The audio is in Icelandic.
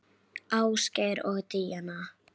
Víni skal til Haga haldið.